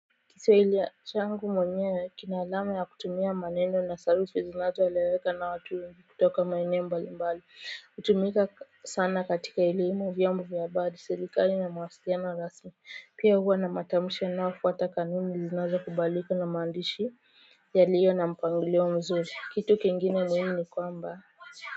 Kiswahili changu mwenyewe kina alama ya kutumia maneno na sarufi zinazo eleweka na watu wa kutoka maeneo mbali mbali hutumika sana katika ili imu vyambu miyabadi sirikali na mawasiliano rasmi pia huwa na matamusha na wafuata kanini zinazo kubaliko na maandishi yaliyo na mpangilio mzuri kitu kingine muhimu ni kwamba kwa hiyo.